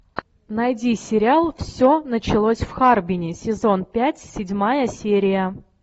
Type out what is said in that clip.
найди сериал все началось в харбине сезон пять седьмая серия